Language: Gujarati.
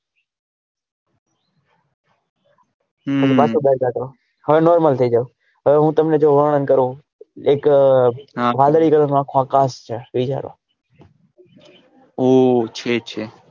હમ પછી પાછો બાર કાડો હવે normal થઇ જાઓ હવે હું તમને જો વર્ણન કરું એક વાદળી colour નો આખો આ કાચ છે વિચારો ઉહ છે છે.